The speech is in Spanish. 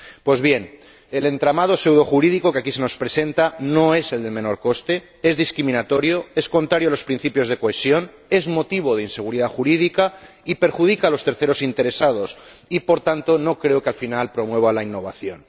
Pues bien, el entramado pseudojurídico que aquí se nos presenta no es el de menor coste, es discriminatorio, es contrario a los principios de cohesión, es motivo de inseguridad jurídica y perjudica a los terceros interesados, y, por tanto, no creo que al final promueva la innovación.